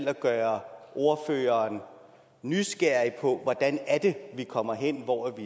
at gøre ordføreren nysgerrig på hvordan vi kommer derhen hvor